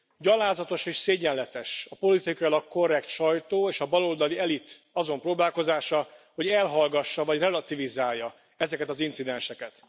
Gyalázatos és szégyenletes a politikailag korrekt sajtó és a baloldali elit azon próbálkozása, hogy elhallgassa vagy relativizálja ezeket az incidenseket.